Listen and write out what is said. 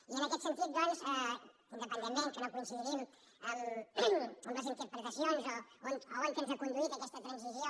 i en aquest sentit doncs independentment que no coincidim en les interpretacions o a on ens ha conduït aquesta transició